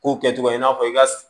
Kow kɛcogo i n'a fɔ i ka